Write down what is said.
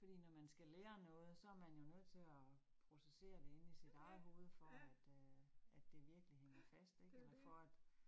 Fordi når man skal lære noget, så man jo nødt til at processere det inde i sit eget hoved for at øh at det virkelig hænger fast ik eller for at